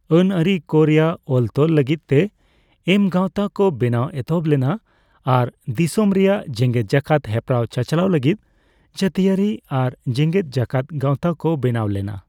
ᱟᱹᱱᱼᱟᱹᱨᱤ ᱠᱚᱨᱮᱭᱟᱜ ᱚᱞᱼᱛᱚᱞ ᱞᱟᱹᱜᱤᱫ ᱛᱮ ᱮᱢ ᱜᱟᱣᱛᱟ ᱠᱚ ᱵᱮᱱᱟᱣ ᱮᱛᱚᱦᱚᱵ ᱞᱮᱱᱟ ᱟᱨ ᱫᱤᱥᱚᱢ ᱨᱮᱭᱟᱜ ᱡᱮᱜᱮᱛᱼᱡᱟᱠᱟᱛ ᱦᱮᱯᱨᱟᱣ ᱪᱟᱪᱟᱞᱟᱣ ᱞᱟᱹᱜᱤᱫ ᱡᱟᱹᱛᱤᱭᱟᱹᱨᱤ ᱟᱨ ᱡᱮᱜᱮᱫ ᱡᱟᱠᱟᱛ ᱜᱟᱣᱛᱟ ᱠᱚ ᱵᱮᱱᱟᱣ ᱞᱮᱱᱟ ᱾